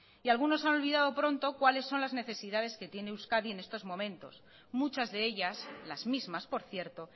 y algunos han olvidado pronto cuáles son las necesidades que tiene euskadi en estos momentos muchas de ellas las mismas por cierto